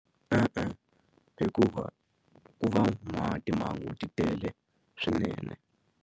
E-e hikuva ku va na timhangu ti tele swinene.